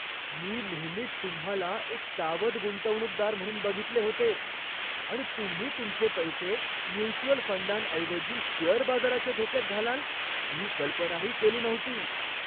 मी नेहमीच तुम्हाला एक सावध गुंतवणूकदार म्हणून बघितले होते आणि तुम्ही तुमचे पैसे म्युच्युअल फंडांऐवजी शेअर बाजाराच्या धोक्यात घालाल ही कल्पनाही केली नव्हती.